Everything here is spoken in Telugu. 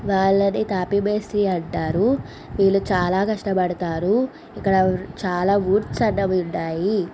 వాళ్లని తాపీ మేస్త్రి అంటారు. వీళ్ళు చాలా కష్టపడతారు. ఇక్కడ చాలా ఊడ్చడం ఉంటాయి.